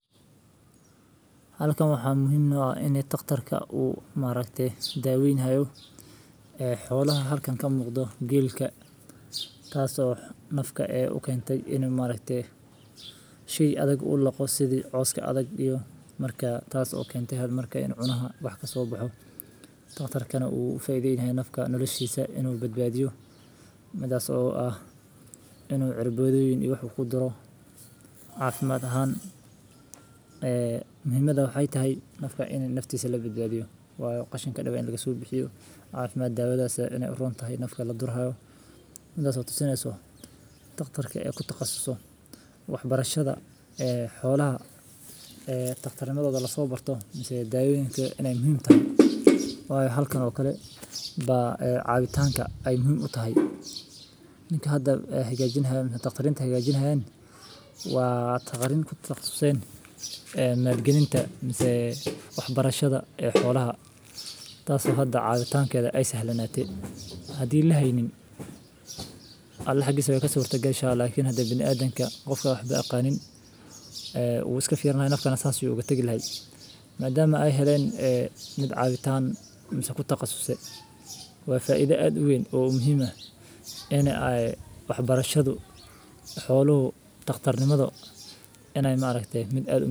Marka la arkeyo geela jirran, waa in la sameeyaa talaabooyin degdeg ah oo la xiriiriya xanaanada xoolaha si loo daweeyo xanuunka, waxaana lagama maarmaan ah in la hubiyo in ay helaan biyo nadiif ah, cunto nafaqo leh, iyo hoy la iska ilaaliyo qaboowga iyo kulaylka, sidoo kale waa in la sameeyaa dawooyin caafimaad oo loo maro geela si loo hortago cudurrada sida qandho, dhagxaan, iyo xanuunada neefmada, waxaana muhiim ah in la dhaqso dhaqso geliyo daawo marka la ogaado in geelu ay qabanayso wax xanuun ah, gaar ahaan marka ay muujiyaan calaamadaha la mid ah istaagid, cabsi, ama hilbo la’aan, waa in la keenaa xanaanada geela si degdeg ah.